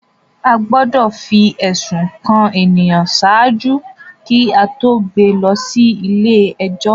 A gbọdọ fi ẹsun kan ènìyàn ṣáájú kí a to gbé lọ sí ilé-ẹjọ